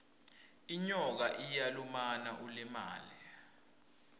inyoka iyalumana ulimale